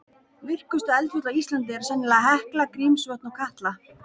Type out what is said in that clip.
Virkustu eldfjöll á Íslandi eru sennilega Hekla, Grímsvötn og Katla.